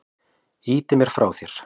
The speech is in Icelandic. Ýtir mér frá þér.